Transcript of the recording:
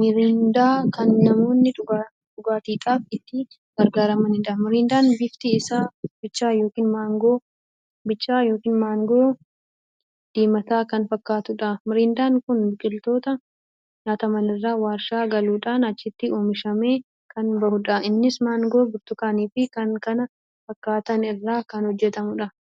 miriindaa kan namoonni dhugaatiidhaaf itti gargaramaniidha. miriindaan bifti isaa bichaa ykn mangoo diimaataa kan fakkaatuudha. miriindaan kun biqiloota nyaatamanirraa warshaa galuudhaan achitti oomishamee kan bahuudha. innis mangoo burtukaanii fi kan kana fakkaatan irraa kan hojjetamuudha.